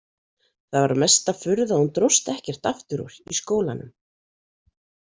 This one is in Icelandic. Það var mesta furða að hún dróst ekkert aftur úr í skólanum.